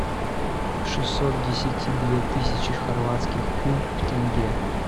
шестьсот десяти две тысячи хорватских кун в тенге